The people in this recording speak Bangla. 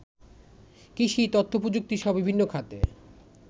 কৃষি, তথ্যপ্রযুক্তিসহ বিভিন্ন খাতে